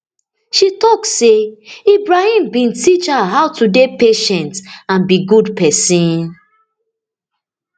she tok say ibrahim bin teach her how to dey patient and be good pesin